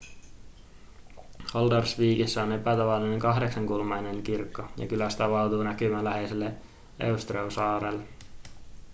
haldarsvíkissä on epätavallinen kahdeksankulmainen kirkko ja kylästä avautuu näkymä läheiselle eysturoy-saarelle